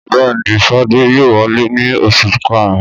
Bẹ́ẹ̀ ni, Fadé yóò wálé ní oṣù karùn-ún.